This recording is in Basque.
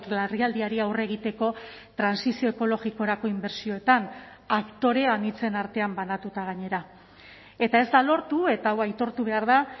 larrialdiari aurre egiteko trantsizio ekologikorako inbertsioetan aktore anitzen artean banatuta gainera eta ez da lortu eta hau aitortu behar da